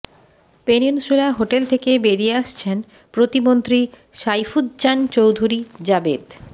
peninsula Hotel থেকে বেরিয়ে আসছেন প্রতিমন্ত্রী সাইফুজ্জামান চৌধুরী জাবেদ